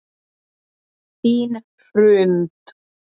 Þín Hrund.